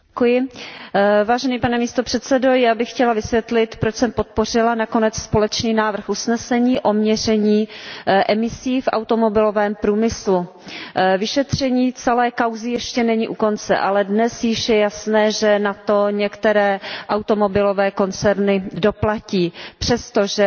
Pane předsedající, já bych chtěla vysvětlit, proč jsem podpořila nakonec společný návrh usnesení o měření emisí v automobilovém průmyslu. Vyšetření celé kauzy ještě není u konce, ale dnes již je jasné, že na to některé automobilové koncerny doplatí přesto, že se k tomu např.